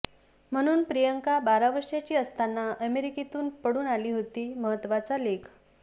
म्हणून प्रियांका बारा वर्षांची असताना अमेरिकेतून पळून आली होती महत्तवाचा लेख